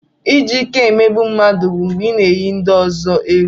Iji ìké emegbu mmadụ bụ mgbe ị na-éyi ndị ọzọ egwu